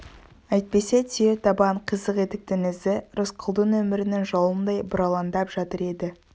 әйтпесе түйе табан қисық етіктің ізі рысқұлдың өмірінің жолындай бұралаңдап жатар еді